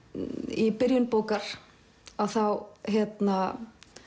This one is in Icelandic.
í byrjun bókar að þá hérna